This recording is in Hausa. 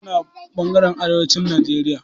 Hausawa suna ɓangaren arewacin Najeriya.